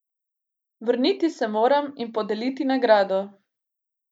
Vrniti se moram in podeliti nagrado.